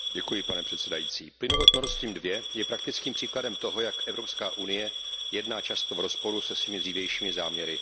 Pane předsedající, plynovod Nord Stream 2 je praktickým příkladem toho, jak Evropská unie jedná často v rozporu se svými dřívejšími záměry.